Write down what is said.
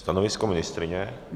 Stanovisko ministryně?